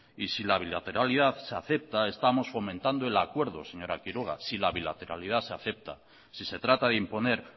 y si la bilateralidad se acepta estamos fomentando el acuerdo señora quiroga si la bilateralidad se acepta si se trata de imponer